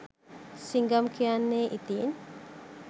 සිංගම් කියන්නෙ ඉතින්